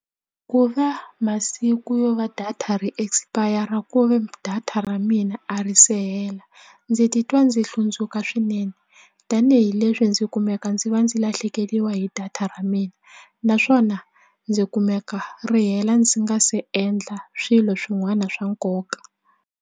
Ku va masiku yo va data ri expire ku ve data ra mina a ri se hela ndzi titwa ndzi hlundzuka swinene tanihileswi ndzi kumeka ndzi va ndzi lahlekeriwa hi data ra mina naswona ndzi kumeka ri hela ndzi nga se endla swilo swin'wana swa nkoka.